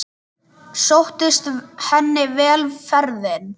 Sóttist henni vel ferðin.